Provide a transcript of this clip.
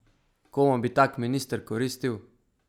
Komu bi tak minister koristil?